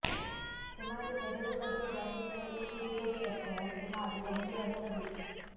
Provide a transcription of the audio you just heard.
ಸುಮಾರು ಎರಡು ಅಡಿ ವ್ಯಾಪಿಸುವ ಈ ಕಿರೀಟದ ಎತ್ತರ ಸುಮಾರು ಒಂದೂವರೆ ಅಡಿ